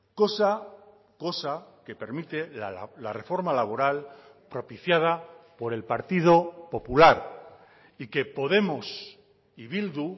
cosa cosa que permite la reforma laboral propiciada por el partido popular y que podemos y bildu